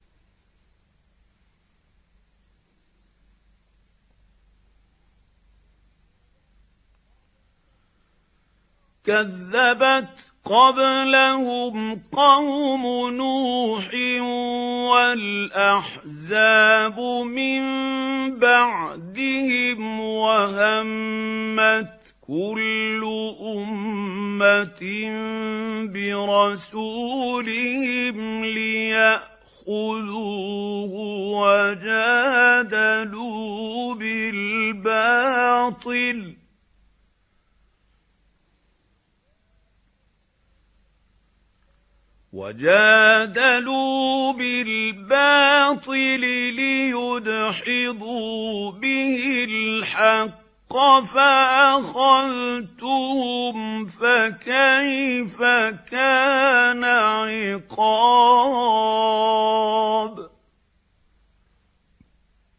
كَذَّبَتْ قَبْلَهُمْ قَوْمُ نُوحٍ وَالْأَحْزَابُ مِن بَعْدِهِمْ ۖ وَهَمَّتْ كُلُّ أُمَّةٍ بِرَسُولِهِمْ لِيَأْخُذُوهُ ۖ وَجَادَلُوا بِالْبَاطِلِ لِيُدْحِضُوا بِهِ الْحَقَّ فَأَخَذْتُهُمْ ۖ فَكَيْفَ كَانَ عِقَابِ